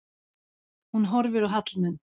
Hún horfir á Hallmund.